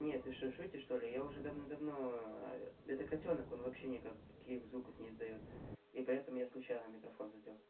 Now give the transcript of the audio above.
нет ты шутишь что ли я уже давно-давно это котёнок он вообще никаких звуков не издаёт и поэтому я случайно микрофон задел